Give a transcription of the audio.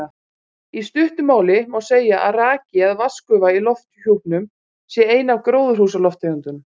Í stuttu máli má segja að raki eða vatnsgufa í lofthjúpnum sé ein af gróðurhúsalofttegundunum.